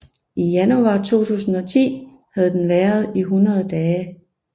I januar 2010 havde den været 100 dage